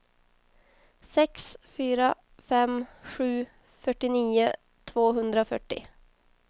sex fyra fem sju fyrtionio tvåhundrafyrtio